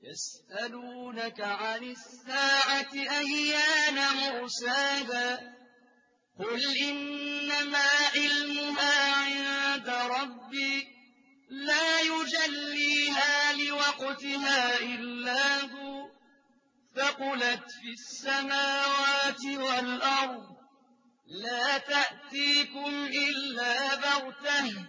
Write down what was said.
يَسْأَلُونَكَ عَنِ السَّاعَةِ أَيَّانَ مُرْسَاهَا ۖ قُلْ إِنَّمَا عِلْمُهَا عِندَ رَبِّي ۖ لَا يُجَلِّيهَا لِوَقْتِهَا إِلَّا هُوَ ۚ ثَقُلَتْ فِي السَّمَاوَاتِ وَالْأَرْضِ ۚ لَا تَأْتِيكُمْ إِلَّا بَغْتَةً ۗ